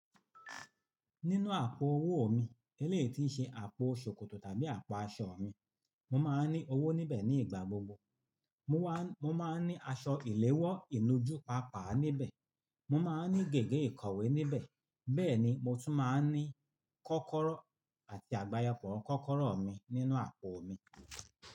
Nínú àpò owó mi, elétì ń ṣe àpò ṣòkòtò tàbí àpò aṣọ mi. Mo máa ń ní owó níbẹ̀ ní ìgbà gbogbo. Mo wá, mo máa ń ní aṣọ ìléwọ́ ìnújú pàápàá níbẹ̀. Mo máa ń ní gègé ìkọ̀wé níbẹ̀. Bẹ́ẹ̀ ni, mo tún máa ń ní kọ́kọ́rọ́ àti àgbàyapo kọ́kọ́rọ́ mi nínú àpò mi.